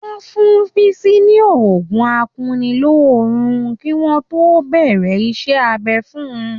Wọ́n fún Bísí ní oògùn akunilóorun kí wọ́n tó bẹ̀rẹ̀ iṣẹ́-abẹ fun.